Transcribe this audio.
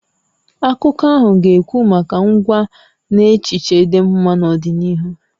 Akụkọ ahụ ga-ekwu maka ngwa na echiche dị mma n'ọdịnihu.